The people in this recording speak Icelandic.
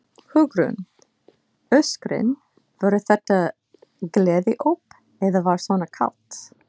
Hugrún: Öskrin, voru þetta gleðióp eða var svona kalt?